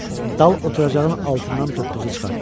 Dal oturacağın altından toppuzu çıxartdı.